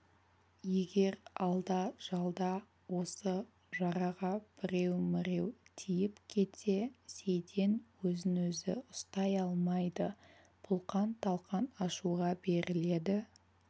егер алда-жалда осы жараға біреу-міреу тиіп кетсе сейтен өзін өзі ұстай алмайды бұлқан-талқан ашуға беріледі